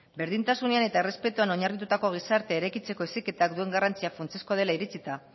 berdintasunean eta errespetuan oinarritutako gizartea eraikitzeko duen heziketak duen garrantzia funtsezkoa dela iritsita